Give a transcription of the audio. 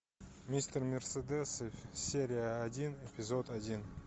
мистер мерседес серия один эпизод один